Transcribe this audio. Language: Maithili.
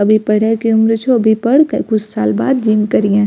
अभी पढ़े के उम्र छो अभी पढ़ कए कुछ साल बाद जिम करहीए।